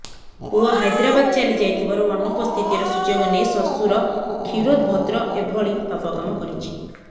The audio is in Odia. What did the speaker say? ପୁଅ ହାଇଦ୍ରାବାଦ ଚାଲିଯାଇଥିବାରୁ ଅନୁପସ୍ଥିତିର ସୁଯୋଗ ନେଇ ଶ୍ୱଶ୍ୱର କ୍ଷୀରୋଦ ଭଦ୍ର ଏଭଳି ପାପକାମ କରିଛି